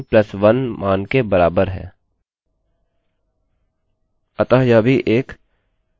अतः यह num लेता है और कहता है कि यह num+1 मान के बराबर है